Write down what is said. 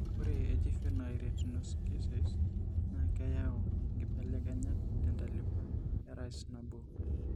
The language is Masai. Ore eJuvenile retinoschisise naa keyau inkibelekenyat tentalipa eRSnabo.